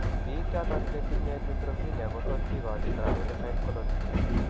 Biik choton chetinye neutropenia kotot kigachi granulocyte colony